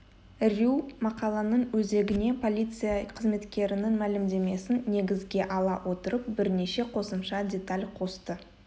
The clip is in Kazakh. рью мақаланың өзегіне полиция қызметкерінің мәлімдемесін негізге ала отырып бірнеше қосымша деталь қосты